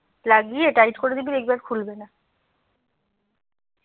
লাগিয়ে টাইট করে দিবি দেখবি আর খুলবে না